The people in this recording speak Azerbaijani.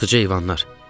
Yırtıcı heyvanlar!